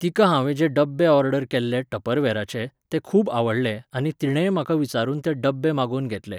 तिका हांवें जे डब्बे ऑर्डर केल्ले टपरवेराचे, ते खूब आवडले आनी तिणेंय म्हाका विचारून ते डब्बे मागोवन घेतले